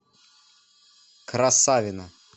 красавино